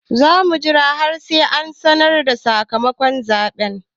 Za mu jira har sai an sanar da sakamakon zaɓen.